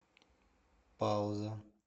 пауза